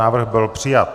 Návrh byl přijat.